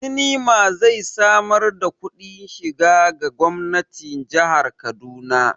Sinima zai samar da kudin shiga ga gwamnatin jihar Kaduna.